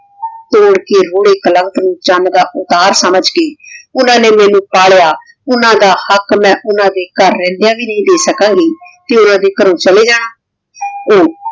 ਊ ਲਾਕੇਰ ਹੋਣੇ ਕਲੰਕ ਨੂ ਚਾਨ ਦਾ ਉਤਰ ਸਮਝ ਕੇ ਓਹਨਾਂ ਨੇ ਮੇਨੂ ਪਾਲਿਯਾ ਓਹਨਾਂ ਦਾ ਹਕ਼ ਮੈਂ ਓਹਨਾਂ ਦੇ ਗਹਰ ਰੇਹ੍ਨ੍ਦਾਯਾਂ ਵੀ ਨਹੀ ਦੇ ਸਕਣ ਗੀ ਤੇ ਓਹਨਾਂ ਦੇ ਘਰੋਂ ਚਲੇ ਜਾਣਾ ਊ